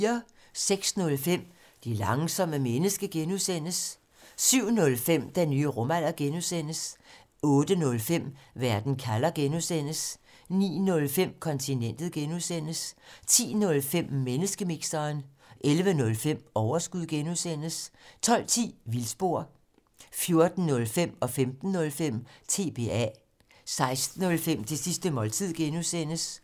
06:05: Det langsomme menneske (G) 07:05: Den nye rumalder (G) 08:05: Verden kalder (G) 09:05: Kontinentet (G) 10:05: Menneskemixeren 11:05: Overskud (G) 12:10: Vildspor 14:05: TBA 15:05: TBA 16:05: Det sidste måltid (G)